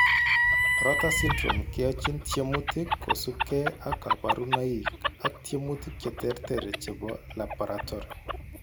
Rotor syndrome keyochin tyemutik kosubkei ak kaborunpoik ak tyemutik cheterter chebo laboratory